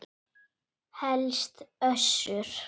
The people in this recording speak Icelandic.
Helst Össur.